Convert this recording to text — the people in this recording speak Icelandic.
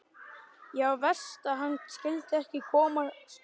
Já, verst að hann skyldi ekki komast út á land.